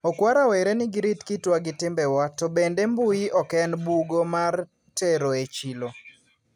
okwa rawere ni girit kitwa gi timbewa to bende mbui oken bugo mar teroe chilo.